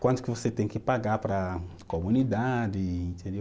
Quanto que você tem que pagar para a comunidade, entendeu?